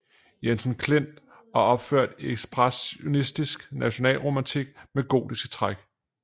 Jensen Klint og opført i ekspressionistisk nationalromantik med gotiske træk